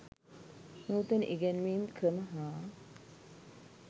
නූතන ඉගැන්වීම් ක්‍රම හා